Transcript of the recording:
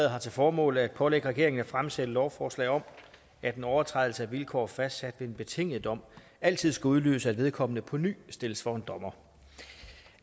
har til formål at pålægge regeringen at fremsætte lovforslag om at en overtrædelse af vilkår fastsat ved en betinget dom altid skal udløse at vedkommende på ny stilles for en dommer